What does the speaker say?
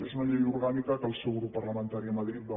és una llei orgànica que el seu grup parlamentari a madrid va votar